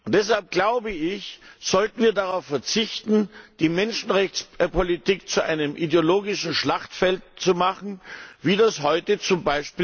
Deshalb sollten wir darauf verzichten, die Menschenrechtspolitik zu einem ideologischen Schlachtfeld zu machen, wie das heute z.